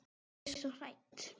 Ég er svo hrædd.